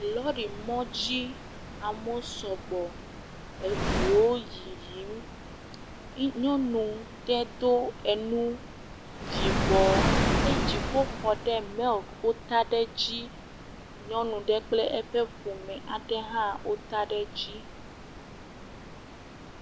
Lɔɖimɔ dzi amewo sɔgbɔ, eŋuwo yiyim, nyɔnu ɖe do enu yibɔ eye dziƒoxɔ milk wota ɖe dzi, nyɔnu ɖe kple eƒe ƒome aɖe hã wota ɖe edzi.